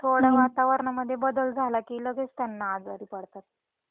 थोड वातावरणामध्ये बदल झाला की त्यांना लगेच आजारी पडतातKid Shouting